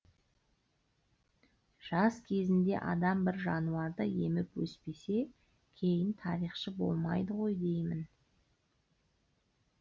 жас кезінде адам бір жануарды еміп өспесе кейін тарихшы болмайды ғой деймін